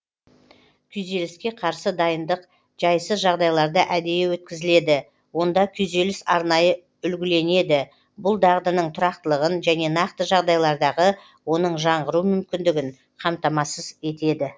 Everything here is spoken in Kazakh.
күйзеліске қарсы дайындық жайсыз жағдайларда әдейі өткізіледі онда күйзеліс арнайы үлгіленеді бұл дағдының тұрақтылығын және нақты жағдайлардағы оның жаңғыру мүмкіндігін қамтамасыз етеді